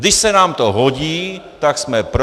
Když se nám to hodí, tak jsme pro.